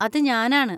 അത് ഞാനാണ്.